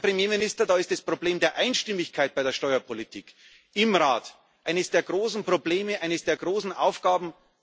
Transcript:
Herr Premierminister, da ist das Problem der Einstimmigkeit bei der Steuerpolitik im Rat eines der großen Probleme, eine der großen Aufgaben.